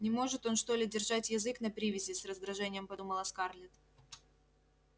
не может он что ли держать язык на привязи с раздражением подумала скарлетт